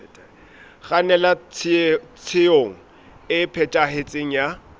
kgannela tshenyong e phethahetseng ya